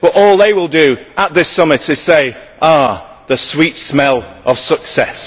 But all they will do at this summit is say ah, the sweet smell of success!